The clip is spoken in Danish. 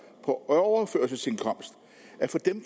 på overførselsindkomster